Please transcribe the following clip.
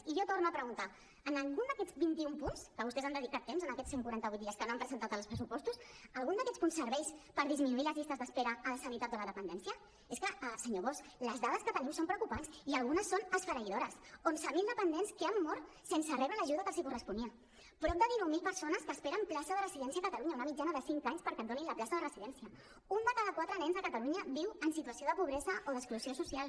i jo torno a preguntar algun d’aquests vint i un punts que vostès hi han dedicat temps en aquests cent quaranta vuit dies que no han presentat els pressupostos algun d’aquests punts serveix per disminuir les llistes d’espera a la sanitat o a la dependència és que senyor bosch les dades que tenim són preocupants i algunes són esfereïdores onze mil dependents que han mort sense rebre l’ajuda que els corresponia prop de dinou mil persones que esperen plaça de residència a catalunya una mitjana de cinc anys perquè et donin la plaça de residència un de cada quatre nens a catalunya viu en situació de pobresa o d’exclusió social